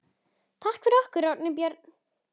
Takk fyrir okkur, Árni Björn!